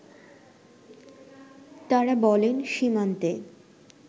তারা বলেন সীমান্তে